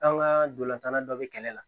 An ka dolantanla dɔ bɛ kɛlɛ la